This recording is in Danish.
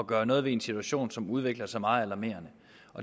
gøre noget ved en situation som udvikler sig meget alarmerende